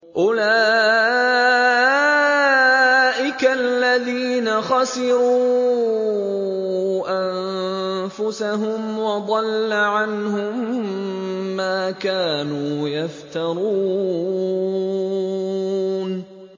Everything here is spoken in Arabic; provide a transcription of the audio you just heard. أُولَٰئِكَ الَّذِينَ خَسِرُوا أَنفُسَهُمْ وَضَلَّ عَنْهُم مَّا كَانُوا يَفْتَرُونَ